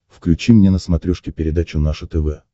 включи мне на смотрешке передачу наше тв